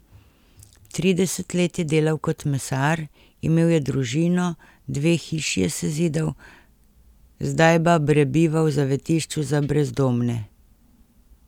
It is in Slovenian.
Trideset let je delal kot mesar, imel je družino, dve hiši je sezidal, zdaj ba prebiva v zavetišču za brezdomne.